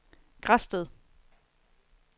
Græsted